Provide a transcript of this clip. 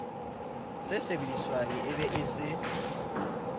se sebediswang e be se